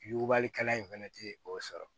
Yugubalikɛla in fɛnɛ tɛ o sɔrɔ